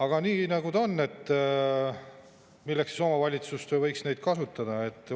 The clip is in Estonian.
Aga nii ta on ja milleks siis omavalitsus võiks seda kasutada?